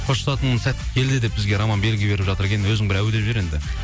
қоштасатын сәт келді деп бізге роман белгі беріп жатыр екен өзің бір әу деп жібер енді